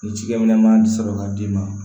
Ni cikɛminɛ sɔrɔ ka d'i ma